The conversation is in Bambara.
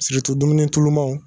dumuni tulumaw